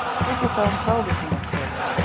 Tekist á um frávísunarkröfu